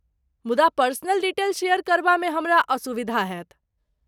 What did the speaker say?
मुदा personal detail share करबामे हमरा असुविधा हैत।